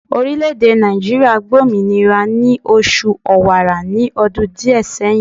Orileèdè Nàìjíríà gba òmìnira ni oṣù Ọ̀wààrà ní ọdún díè seyin